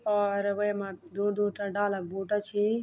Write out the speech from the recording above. और वैमा दु दुटा डाला बोटा छी।